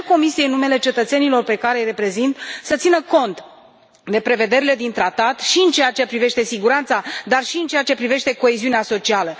Cer Comisiei, în numele cetățenilor pe care îi reprezint, să țină cont de prevederile din tratat și în ceea ce privește siguranța, dar și în ceea ce privește coeziunea socială.